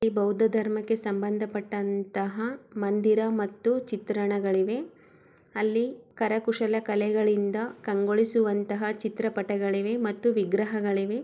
ಇದು ಬೌದ್ಧ ಧರ್ಮಕ್ಕೆ ಸಂಬಂಧಪಟ್ಟ ಮಂದಿರ ಮತ್ತು ಚಿತ್ರಣಗಳಿವೆ ಅಲ್ಲಿ ಕರಕುಶಲ ಕಲೆಗಳಿಂದ ಕಂಗಳಿಸುವಂತಹ ಚಿತ್ರ ಪಟಗಳಿವೆ ಮತ್ತು ವಿಗ್ರಹ ಗಲಿವೆ.